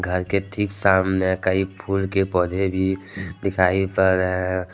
घर के ठीक सामने कई फूल के पौधे भी दिखाई पड़ रहे हैं।